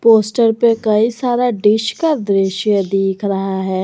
Poster पे कई सारा डिश का दृश्य दिख रहा है।